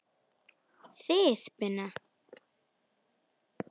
Þið Binna?